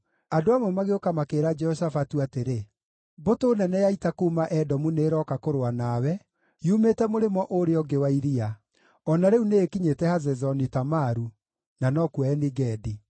Andũ amwe magĩũka makĩĩra Jehoshafatu atĩrĩ, “Mbũtũ nene ya ita kuuma Edomu nĩĩroka kũrũa nawe, yumĩte mũrĩmo ũrĩa ũngĩ wa iria. O na rĩu nĩĩkinyĩte Hazezoni-Tamaru” (na nokuo Eni-Gedi).